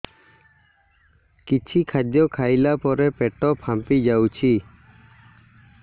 କିଛି ଖାଦ୍ୟ ଖାଇଲା ପରେ ପେଟ ଫାମ୍ପି ଯାଉଛି